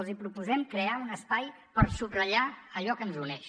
els proposem crear un espai per subratllar allò que ens uneix